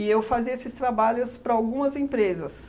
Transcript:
eu fazia esses trabalhos para algumas empresas.